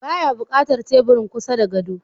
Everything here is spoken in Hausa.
Ba ya buƙatar teburin kusa da gado.